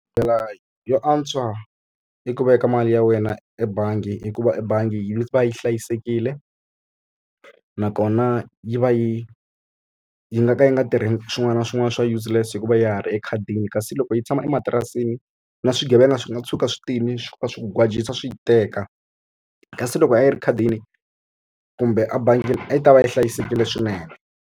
Ndlela yo antswa i ku veka mali ya wena ebangi hikuva ebangi yi va yi hlayisekile, nakona yi va yi yi nga ka yi nga tirheni swin'wana na swin'wana swa useless hi ku va ya ha ri ekhadini. Kasi loko yi tshama ematirasini, na swigevenga swi nga tshuka swi tile swi fika swi ku gwajisa swi yi teka. Kasi loko a yi ri ekhadini kumbe ebangini a yi ta va yi hlayisekile swinene.